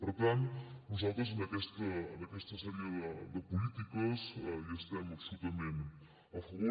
per tant nosaltres d’aquesta sèrie de polítiques hi estem absolutament a favor